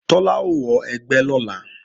Tọ́lá ó wọ ẹgbẹ́ lọ́la